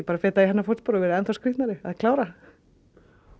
fetað í hennar fótspor og verið enn þá skrýtnari að klára